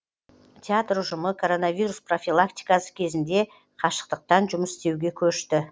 театр ұжымы коронавирус профилактикасы кезінде қашықтықтан жұмыс істеуге көшті